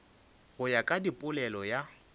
go ya ka polelo ya